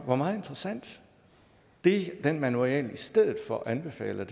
var meget interessant det den manual i stedet for anbefaler